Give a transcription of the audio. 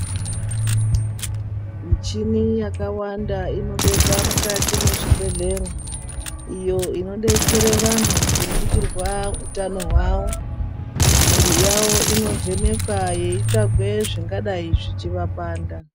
Michini yakawanda inobekwa mukati mwezvibhedhlera. Iyo inobetsere vantu kuringirwa utano hwavo, mwiri yavo inovhenekwa veitsvage zvingadai zvichivapanda.